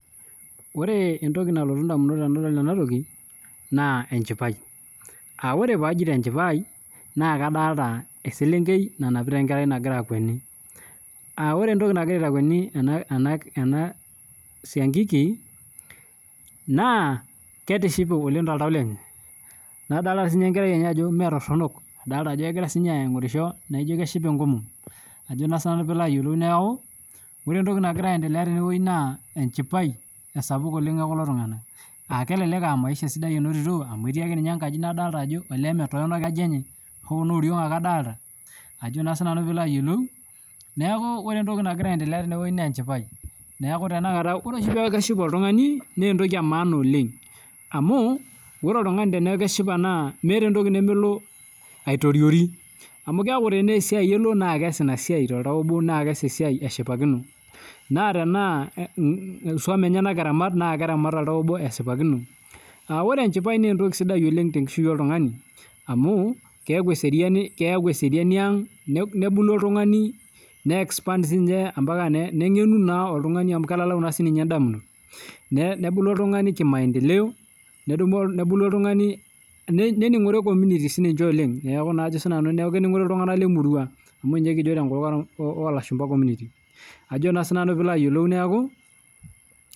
Ore entoki nalotu ndamunot anadol ina na enchipae amu ore pajoito enchipae na adolta eselenkei nanapita enkerai nagira akweni aa ore entoki nagira aitakueni enasia kiki na etishipe oleng toltau lenye nadolta sinye enkerai enye ajo metoronok egira sinye aingorisho naino keshipa enkomom ajo na sinanu pilo ayiolou neaku ore entoki nagira aiendelea tene na enchipae oltunganak kelek aa maisha sidai inotito etii akeenye enkaji naijo metoronok oleng hoo noo oriong adolta neaku ore entoki nagira aendelea tene na echipae neaku ore peaku keshipa oltungani naa entomi etipat oleng naa meeta entoki namelo aitoriori ame keaku tanaa esiaia na kelo aas inasia toltau obo naa keas esiaia eshipakino, keaku eseriani aang nebulu oltungani nengenu amu kelalau naa ndamunot nebulu oltungani neningoru ltunganak lemurua ajo naa sinanu pilo ayiolou neaku.